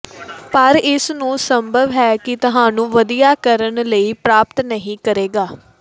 ਪਰ ਇਸ ਨੂੰ ਸੰਭਵ ਹੈ ਕਿ ਤੁਹਾਨੂੰ ਵਧੀਆ ਕਰਨ ਲਈ ਪ੍ਰਾਪਤ ਨਹੀ ਕਰੇਗਾ